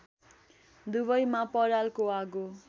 दुवैमा परालको आगो